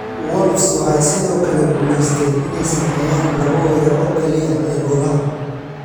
Wolves waxay sidoo kale guuleysteen inay sameeyaan labo weerar oo kaliya ee golaha.